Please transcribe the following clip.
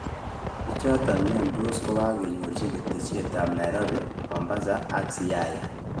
Bichoton miondos kokanyorchi keteshet abbNairobi, Mombasaak Siaya